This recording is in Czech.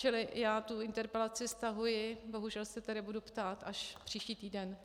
Čili já tu interpelaci stahuji, bohužel se tedy budu ptát až příští týden.